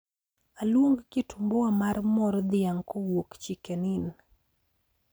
Aluong kitumbua mar mor dhiang' kowuok chicken inn